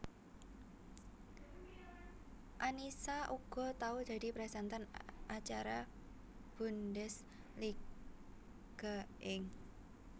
Annisa uga tau dadi presenter acara Bundesliga ing